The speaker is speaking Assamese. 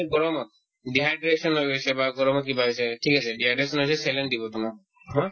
গৰমত dehydration হৈ গৈছে বা গৰমত কিবা হৈছে ঠিক আছে dehydration হৈছে saline দিব তোমাক হয়